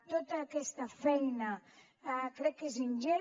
tota aquesta feina crec que és ingent